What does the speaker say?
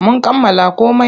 Mun kammala komai.